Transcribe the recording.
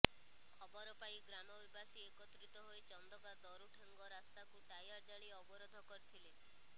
ଖବରପାଇ ଗ୍ରାମବାସୀ ଏକତ୍ରିତି ହୋଇ ଚନ୍ଦକା ଦରୁଠେଙ୍ଗ ରାସ୍ତାକୁ ଟାୟାର ଜାଳି ଅବରୋଧ କରିଥିଲେ